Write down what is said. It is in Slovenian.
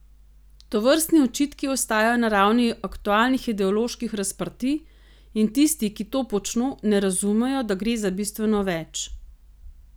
Tovrstni očitki ostajajo na ravni aktualnih ideoloških razprtij in tisti, ki to počno, ne razumejo, da gre za bistveno več.